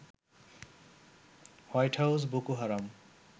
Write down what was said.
white House Boko হারাম